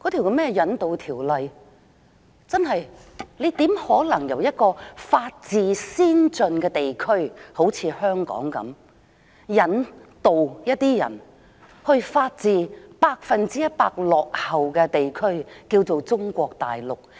修訂《逃犯條例》，怎可能把人由一個法治先進的地區——例如香港——引渡到法治百分之一百落後的地區，即是中國大陸？